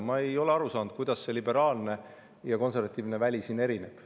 Ma ei ole aru saanud, kuidas liberaalne ja konservatiivne väli siin erinevad.